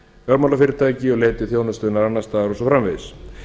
fjármálafyrirtæki og leiti þjónustunnar annars staðar og svo framvegis